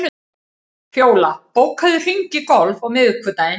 Fjóla, bókaðu hring í golf á miðvikudaginn.